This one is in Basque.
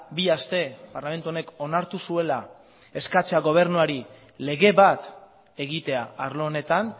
bi aste parlamentu honek onartu zuela eskatzea gobernuari lege bat egitea arlo honetan